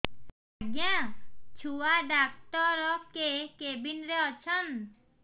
ଆଜ୍ଞା ଛୁଆ ଡାକ୍ତର କେ କେବିନ୍ ରେ ଅଛନ୍